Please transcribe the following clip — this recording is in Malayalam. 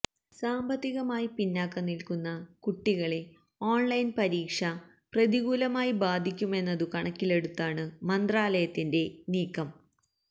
സാന്പത്തികമായി പിന്നാക്കം നില്ക്കുന്ന കുട്ടികളെ ഓണ്ലൈന് പരീക്ഷ പ്രതികൂലമായി ബാധിക്കുമെന്നതു കണക്കിലെടുത്താണു മന്ത്രാലയത്തിന്റെ നീക്കം